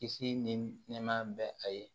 Kisi ni nɛɛɛma bɛ a ye